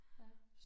Ja